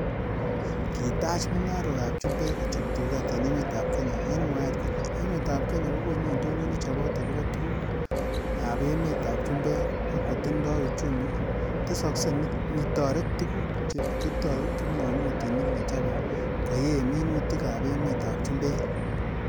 Kitach mungarok ab chumbek kochob tuget en emetab Kenya, en mwaet kole emetab kenya kokonu indonyo nechobot agobo tuguk ab emetab chumbek, ak kotindoi uchumi tesokse nitoret tuguk che kitou kipngomutik nechobo koyee minutik ab emetab chumbek.